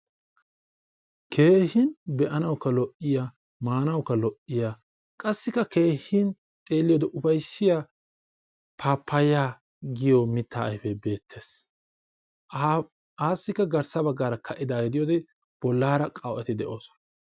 Keehin be'anawuika lo'iyaa, maanawuka lo'iyaa, qassika keehin xeeliyode ufayssiya pappaya giyo miitta ayfe beetees. Ha a assika garssa baggaara ka'idaage de'iyode bollara qawu'etti de'osona.